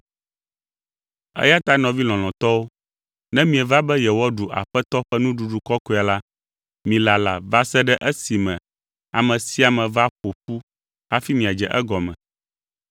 Eya ta nɔvi lɔlɔ̃tɔwo, ne mieva be yewoaɖu Aƒetɔ ƒe Nuɖuɖu Kɔkɔea la, milala va se ɖe esime ame sia ame va ƒo ƒu hafi miadze egɔme.